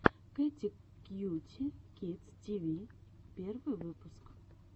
кэти кьюти кидс ти ви первый выпуск